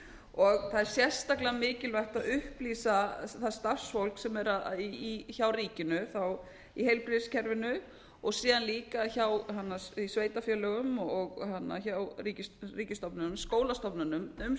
og það er sérstaklega mikilvægt að upplýsa það starfsfólk sem er hjá ríkinu í heilbrigðiskerfinu og síðan líka í sveitarfélögum og hjá ríkisstofnunum skólastofnunum um